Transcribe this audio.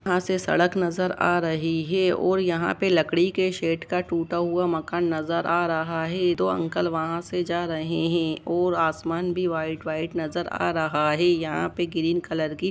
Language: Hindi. यहां से सड़क नजर आ रही है और यहां पे लकड़ी के शेड का टूटा हुआ मकान नजर आ रहा है दो अंकल वहां से जा रहे हैं और आसमान भी व्हाइट व्हाइट नजर आ रहा है यहां पे ग्रीन कलर की--